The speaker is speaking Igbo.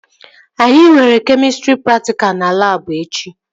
Anyị nwere kemịstrị praktikal na labụ echi